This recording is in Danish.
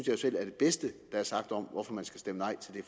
jo selv er det bedste der er sagt om hvorfor man skal stemme nej til det